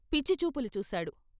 పిచ్చిచూపులు చూశాడు.